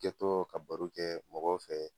I ka to ka baro kɛ mɔgɔw fɛ.